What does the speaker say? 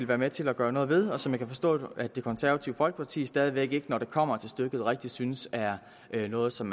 være med til at gøre noget ved og som jeg kan forstå at det konservative folkeparti stadig væk ikke når det kommer til stykket rigtig synes er noget som